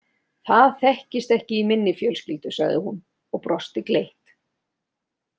Það þekkist ekki í minni fjölskyldu sagði hún og brosti gleitt.